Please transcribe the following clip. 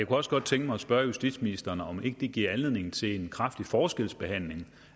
også godt tænke mig at spørge justitsministeren om ikke det giver anledning til en kraftig forskelsbehandling